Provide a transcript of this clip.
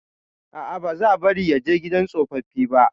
A'a, ba za bari ya je gidan tsofaffi ba.